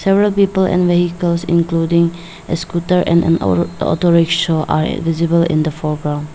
Several people and vehicles including scooter and auto rickshaw visible in the foreground.